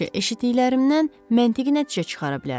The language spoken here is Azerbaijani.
Sadəcə eşitdiklərimdən məntiqi nəticə çıxara bilərəm.